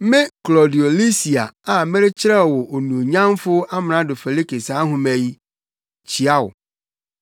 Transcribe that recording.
Me Klaudio Lisia a Merekyerɛw wo Onuonyamfo Amrado Felike saa nhoma yi: Kyia wo!